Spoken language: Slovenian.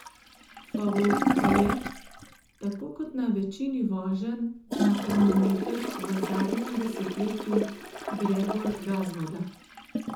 Favorit pa je, tako kot na večini voženj na kronometer v zadnjem desetletju, Gregor Gazvoda.